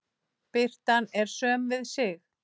Birtan er söm við sig.